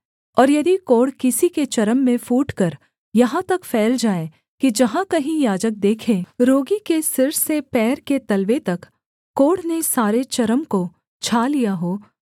और यदि कोढ़ किसी के चर्म में फूटकर यहाँ तक फैल जाए कि जहाँ कहीं याजक देखे रोगी के सिर से पैर के तलवे तक कोढ़ ने सारे चर्म को छा लिया हो